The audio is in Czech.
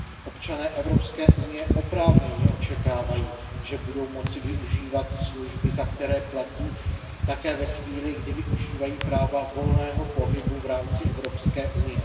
Občané EU oprávněně očekávají, že budou moci využívat služby, za které platí, také ve chvíli, kdy využívají práva volného pohybu v rámci EU.